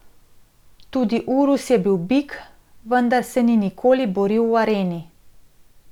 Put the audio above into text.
Tudi urus je bil bik, vendar se ni nikoli boril v areni.